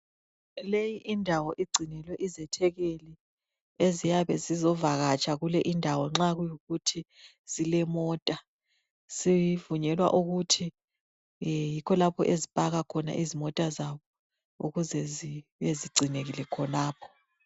Leyi indawo igcinelwe izethekeli eziyabe zizovakatsha kule indawo, nxa kuyikuthi zilemota, zivunyelwa ukuthi yikho lapho ezipakwa khona izimota zabo, ukuze zibe zigcinekile khonapho.